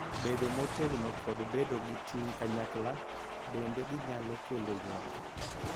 Bedo motegno, kod bedo gi ting' kanyakla, bende ginyalo kelo ywak,